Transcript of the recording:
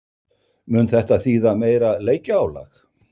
Mun þetta þýða meira leikjaálag?